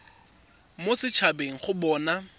mo set habeng go bona